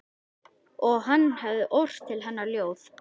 Og hann hefði ort til hennar ljóð.